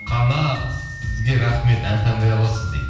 қанат сізге рахмет ән таңдай аласыз дейді